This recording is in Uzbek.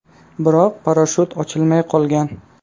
Biroq parashyut ochilmay qolgan.